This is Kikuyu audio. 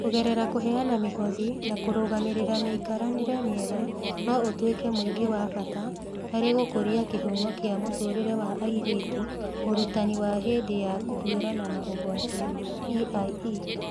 Kũgerera kũheana mĩhothi na kũrũgamĩrĩra mĩikaranĩrie mĩega, no ũtuĩke mũingĩ wa bata harĩ gũkũria kĩhumo kĩa mũtũũrĩre wa airĩtu Ũrutani wa hĩndĩ ya kũhiũrania na ũgwati (EiE).